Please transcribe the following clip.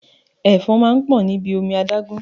Ẹ̀fọn máa ń pọ̀ níbi omi adágún